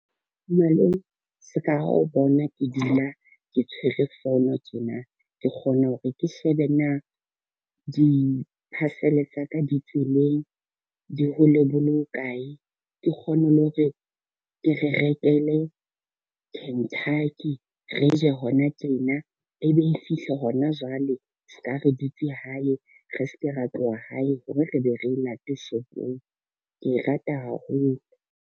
Malome, se ka ha o bona ke dula ke tshwere phone tjena, ke kgona hore ke shebe na di-parcel tsa ka di tseleng di hole bo le kae, ke kgone le hore ke re rekele Kentucky, re je hona tjena, ebe e fihle hona jwale re ska re dutse hae, re se ke ra tloha hae hore re be re e late shopong. Ke e rata haholo.